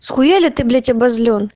схуяли ты блять обозлён